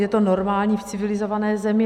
Je to normální v civilizované zemi.